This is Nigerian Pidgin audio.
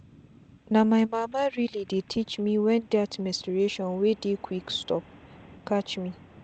na my mama really dey teach mewhen that menstration wey dey quick stop catch me.